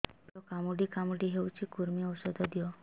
ପେଟ କାମୁଡି କାମୁଡି ହଉଚି କୂର୍ମୀ ଔଷଧ ଦିଅ